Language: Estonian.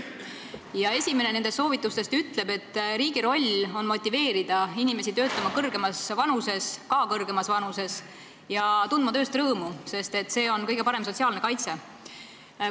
Ja esimene nendest soovitustest ütleb, et riigi roll on motiveerida inimesi töötama ka kõrgemas vanuses ja tundma tööst rõõmu, sest et see on kõige parem sotsiaalne kaitse.